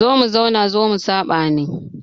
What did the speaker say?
Zo mu zauna zo mu saɓa ne.